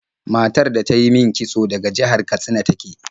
Matar da ta yi min kitso daga jihar Katsina ta ke.